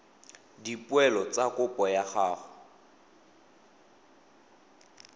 dipoelo tsa kopo ya gago